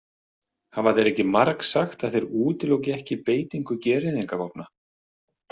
Hafa þeir ekki margsagt að þeir útiloki ekki beitingu gereyðingarvopna?